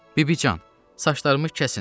Bibican, saçlarımı kəsin.